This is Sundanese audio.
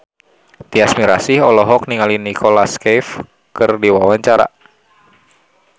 Tyas Mirasih olohok ningali Nicholas Cafe keur diwawancara